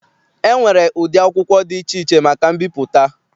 E nwere ụdị akwụkwọ dị iche iche maka mbipụta.